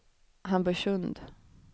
Hamburgsund